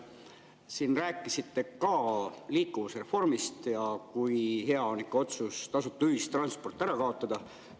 Te rääkisite siin ka liikuvusreformist ja kui hea on ikka otsus tasuta ühistransport ära kaotada.